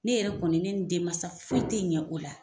Ne yɛrɛ kɔni ne ni denmansa foyi tɛ ɲɛ o la.